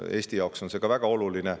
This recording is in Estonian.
Eesti jaoks on see ka väga oluline.